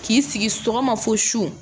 K'i sigi sɔgɔma fo su